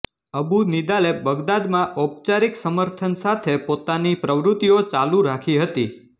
અબુ નિદાલે બગદાદમાં ઔપચારિક સમર્થન સાથે પોતાની પ્રવૃતિઓ ચાલુ રાખી હતી